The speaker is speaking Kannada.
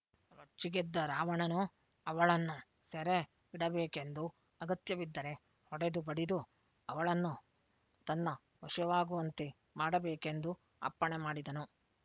ರೊಚ್ಚಿಗೆದ್ದ ರಾವಣನು ಅವಳನ್ನು ಸೆರೆ ಇಡಬೇಕೆಂದೂ ಅಗತ್ಯ ಬಿದ್ದರೆ ಹೊಡೆದು ಬಡಿದು ಅವಳನ್ನು ತನ್ನ ವಶವಾಗುವಂತೆ ಮಾಡಬೇಕೆಂದೂ ಅಪ್ಪಣೆಮಾಡಿದನು